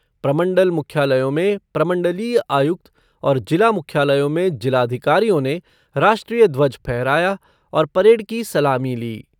प्रमंडल मुख्यालयों में प्रमंडलीय आयुक्त और जिला मुख्यालयों में जिलाधिकारियों ने राष्ट्रीय ध्वज फहराया और परेड की सलामी ली।